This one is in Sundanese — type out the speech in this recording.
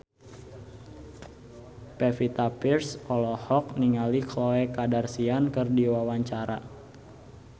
Pevita Pearce olohok ningali Khloe Kardashian keur diwawancara